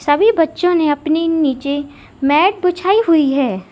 सभी बच्चों ने अपने नीचे मैट बिछाई हुई है।